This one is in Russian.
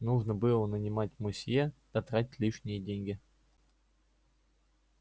нужно было нанимать мусье да тратить лишние деньги